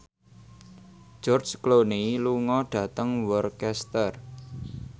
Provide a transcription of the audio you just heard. George Clooney lunga dhateng Worcester